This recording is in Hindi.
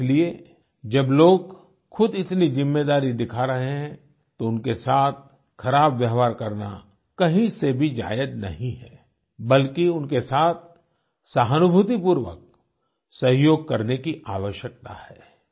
इसलिए जब लोग ख़ुद इतनी ज़िम्मेदारी दिखा रहे हैं तो उनके साथ ख़राब व्यवहार करना कहीं से भी जायज़ नहीं है बल्कि उनके साथ सहानूभूतिपूर्वक सहयोग करने की आवश्यकता है